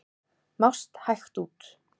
Mást hægt út.